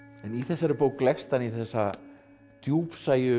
en í þessari bók leggst hann í þessa